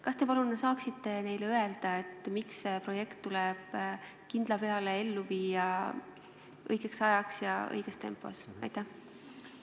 Kas te palun saaksite neile öelda, miks see projekt tuleb kindla peale õigeks ajaks ja õiges tempos ellu viia?